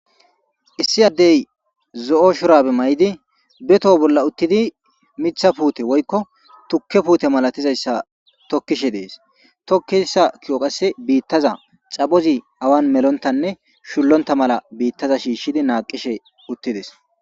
Issi addey zo77o shurabe ma77idi bethho bolla uttidi mitha putte woykko tukke putte malatizzayssa tokishe de77ees tokazza bitazi awan mellontaxaphozzi shontta mala bitazza shishidi naqqishe uttidees.